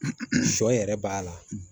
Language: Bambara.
Sɔ yɛrɛ b'a la